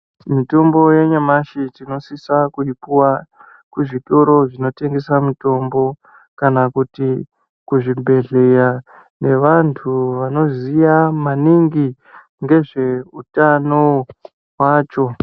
Mitombo yenyamashi tinosise kuipuwa kuzvitoro zvinotengesa mitombo kana kuti kuzvibhehleya ngevantu vanoziya maningi ngezveutano hwacho.